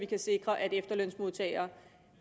kan sikre at efterlønsmodtagere